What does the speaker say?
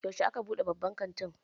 Yaushe aka buɗe babban kantin?